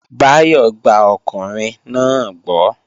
Báyọ̀ gba ọkùnrin náà gbọ́